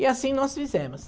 E assim nós fizemos.